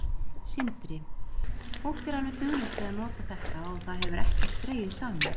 Sindri: Fólk er alveg duglegt við að nota þetta og það hefur ekkert dregið saman?